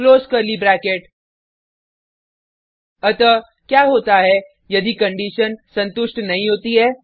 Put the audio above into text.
close curly bracket अतः क्या होता है यदि कंडिशन संतुष्ट नहीं होती है